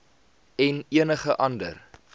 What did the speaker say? en enige ander